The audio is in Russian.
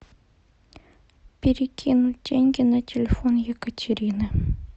перекинуть деньги на телефон екатерины